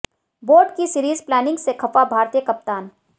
board की series planning से खफा भारतीय कप्तान